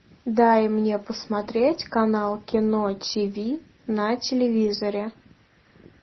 дай мне посмотреть канал кино тиви на телевизоре